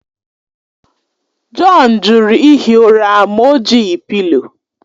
John jụrụ ihi ụra ma o jighị pịlo.